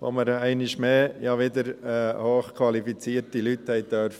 Einmal mehr durften wir hochqualifizierte Leute